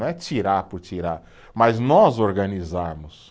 Não é tirar por tirar, mas nós organizarmos.